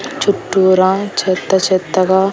చుట్టూరా చెత్త చెత్తగా--